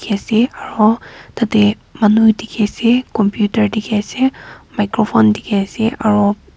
dikhi ase aro tade manu dikhi ase computer dikhi ase microphone dikhi ase aro--